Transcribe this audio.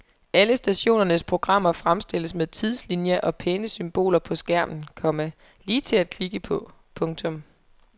Alle stationernes programmer fremstilles med tidslinjer og pæne symboler på skærmen, komma lige til at klikke på. punktum